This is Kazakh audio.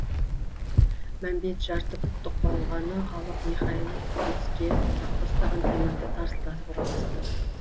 мәмбет жарты пұттық балғаны алып михайлов төске ұстаған темірді тарсылдатып ұра бастады